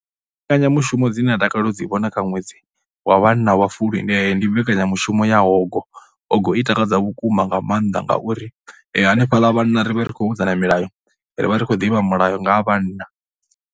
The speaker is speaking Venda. Mbekanyamushumo dzine a takalela u dzi vhona kha ṅwedzi wa vhanna wa Fulwi ndi ndi mbekanyamushumo ya hogo, hogo i takadza vhukuma nga maanḓa ngauri hanefhaḽa vhanna ri vha ri khou vhudzana milayo, ri vha ri khou ḓivha mulayo nga ha vhanna.